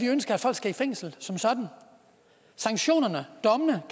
ønsker at folk skal i fængsel sanktionerne dommene